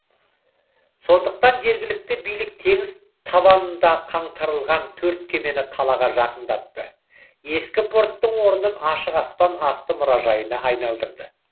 сондықтан жергілікті билік теңіз табанында қаңтарылған төрт кемені қалаға жақындатты ескі порттың орнын ашық аспан асты мұражайына айналдырды